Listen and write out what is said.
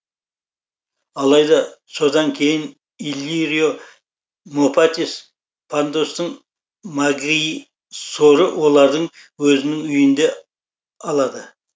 алайда содан кейін иллирио мопатис пандостын магисоры олардың өзінің үйінде алады